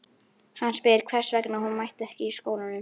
Hann spyr hvers vegna hún mæti ekki í skólanum.